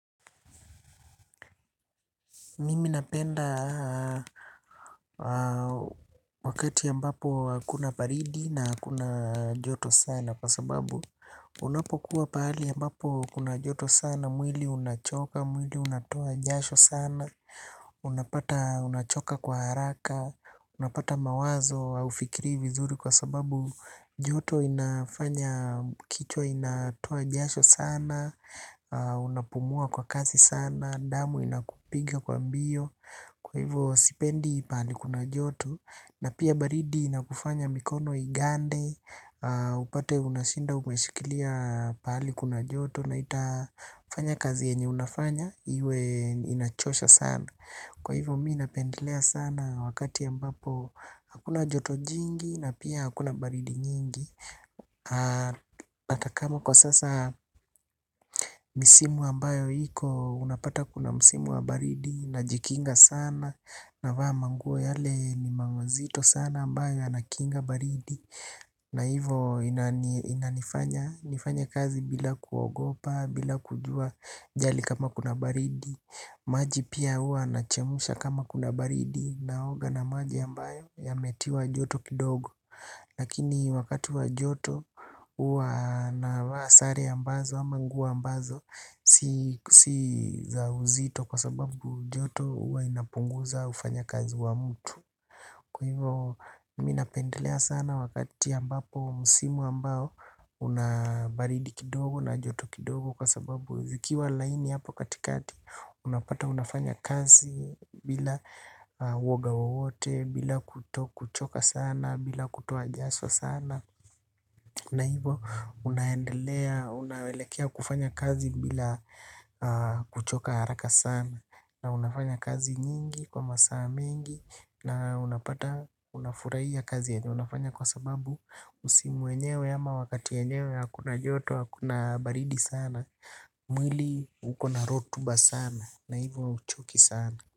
Mimi napenda wakati ambapo hakuna baridi na hakuna joto sana kwa sababu unapokuwa pahali ambapo kuna joto sana mwili unachoka mwili unatoa jasho sana unapata unachoka kwa haraka unapata mawazo haufikiri vizuri kwa sababu joto inafanya kichwa inatoa jasho sana unapumua kwa kazi sana damu inakupiga kwa mbio. Kwa hivyo sipendi pahali kuna joto na pia baridi na kufanya mikono igande upate unashinda umeshikilia mahali kuna joto na itafanya kazi yenye unafanya inachosha sana, kwa hivyo mimi napendelea sana wakati ambapo hakuna joto jingi na pia hakuna baridi nyingi hata kama kwa sasa misimu ambayo iko unapata kuna msimu wa baridi najikinga sana navaa manguo yale ni mazito sana ambayo yanakinga baridi na hivyo inanifanya nifanye kazi bila kuogopa bila kujali kama kuna baridi. Maji pia huwa nachemsha kama kuna baridi naoga na maji ambayo yametiwa joto kidogo. Lakini wakati wa joto huwa navaa sare ambazo ama nguo ambazo si za uzito kwa sababu joto huwa inapunguza ufanyakazi wa mtu. Kwa hivo mi napendelea sana wakati ambapo msimu ambao una baridi kidogo na joto kidogo kwa sababu zikiwa laini hapo katikati. Unapata unafanya kazi bila woga wote, bila kuto kuchoka sana, bila kutoa jasho sana. Na hivyo unaendelea, unaelekea kufanya kazi bila kuchoka haraka sana, na unafanya kazi nyingi kwa masaa mengi. Na unafurahia kazi yenye unafanya kwa sababu msimu wenyewe ama wakati yenyewe hakuna joto, hakuna baridi sana mwili uko na rutuba sana kwa hivyo hauchoki sana.